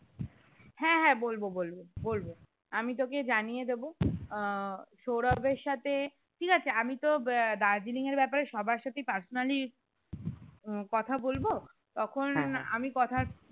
হ্যাঁ হ্যাঁ বলবো বলবো বলবো আমি তোকে জানিয়ে দেবো আহ সৌরভের সাথে ঠিক আছে আমি তো আহ দার্জিলিং এর ব্যাপারে সবার সাথে personally উম কথা বলবো তখন আমি কথা